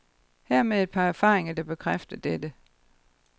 Hermed et par erfaringer, der bekræfter dette.